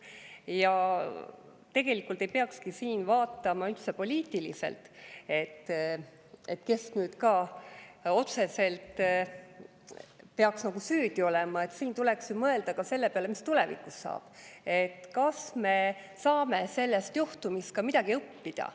Ja tegelikult ei peakski siin vaatama üldse poliitiliselt, kes otseselt nagu süüdi on, vaid tuleks mõelda ka selle peale, mis tulevikus saab ja kas me saame sellest juhtumist midagi õppida.